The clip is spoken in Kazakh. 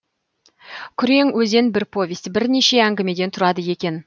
күрең өзен бір повесть бірнеше әңгімеден тұрады екен